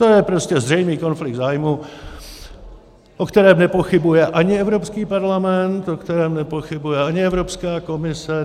To je prostě zřejmý konflikt zájmů, o kterém nepochybuje ani Evropský parlament, o kterém nepochybuje ani Evropská komise.